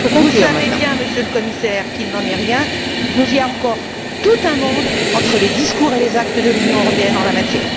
Vous savez bien, Monsieur le Commissaire, qu'il n'en est rien mais il y a encore tout un monde entre les discours et les actes de l'Union européenne en la matière.